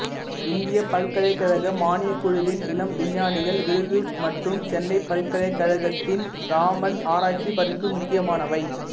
இந்தியப் பல்கலைக்கழக மானியக் குழுவின் இளம் விஞ்ஞானிகள் விருது மற்றும் சென்னைப் பல்கலைக்கழகத்தின் ராமன் ஆராய்ச்சி பரிசு முக்கியமானவை